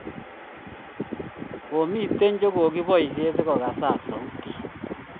Komito che kokibaishe sikokasak sautit